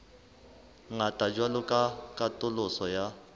ngata jwalo ka katoloso ya